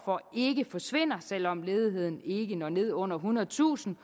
for ikke forsvinder selv om ledigheden ikke når ned under ethundredetusind